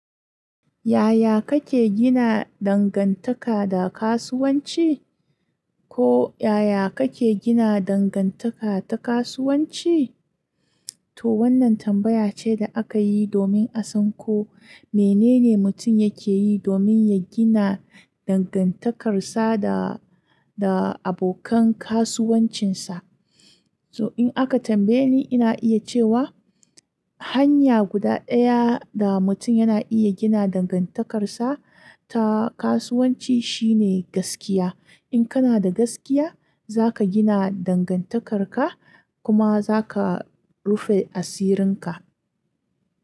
Yaya kake gina dangantaka da kasuwanci? Ko yaya kake gina dangantaka ta kasuwanci? To wannan tambaya ce da aka yi domin a san ko menene mutum yake yi domin ya gina dangantakarsa da, da abokan kasuwancinsa. To in aka tambaye ni, ina iya cewa hanya guda ɗaya da mutum yana iya gina dangantakarsa ta kasuwanci shine gaskiya. In kana da gaskiya, za ka gina dangantakarka kuma za ka rufe asirinka.